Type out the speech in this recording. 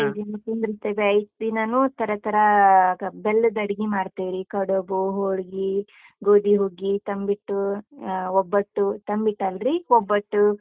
ಐದ್ ದಿನ ಕುಂದ್ರಿಸ್ತೀವಿ, ಐದ್ ದಿನಾನೂ ತರತರ ಬೆಲ್ಲದ್ ಅಡಿಗಿ ಮಾಡ್ತಿವ್ರಿ. ಕಡುಬು, ಹೊಳ್ಗಿ, ಗೋಧಿ ಹುಗ್ಗಿ, ತಂಬಿಟ್ಟು, ಆ ಒಬ್ಬಟ್ಟು, ತಂಬಿಟ್ಟಲ್ರಿ ಒಬ್ಬಟ್ಟು.